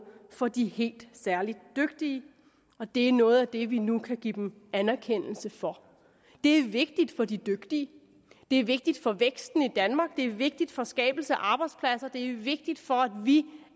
for de helt særlig dygtige og det er noget af det vi nu kan give dem anerkendelse for det er vigtigt for de dygtige det er vigtigt for væksten i danmark det er vigtigt for skabelse af arbejdspladser det er vigtigt for at vi